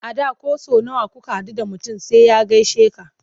A da ko sau nawa kuka haɗu da mutum sai ya gaishe ka.